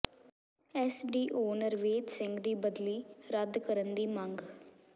SDO Nardev Singh ਦੀ ਬਦਲੀ ਰੱਦ ਕਰਨ ਦੀ ਮੰਗ